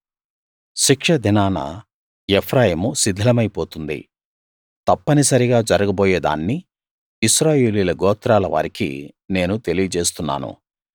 శిక్షదినాన Ephraim శిథిలమై పోతుంది తప్పనిసరిగా జరగబోయే దాన్ని ఇశ్రాయేలీయుల గోత్రాల వారికి నేను తెలియజేస్తున్నాను